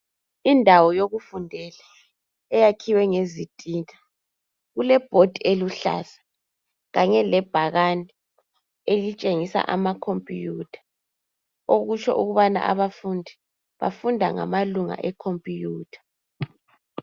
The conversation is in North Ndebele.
Indawo yokufundela eyakhiwe ngezitina kulebhodi eluhlaza Kanye lebhakane elitshengisa amakhompiyutha okutsho ukubana abafundi bafunda ngamalunga ekhompiyutha.